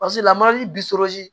Paseke lamarali